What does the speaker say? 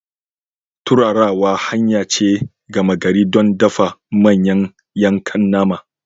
Turarawa hanya ce gama gari don dafa manyan yankan nama.